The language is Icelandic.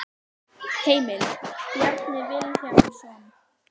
Heimild: Bjarni Vilhjálmsson.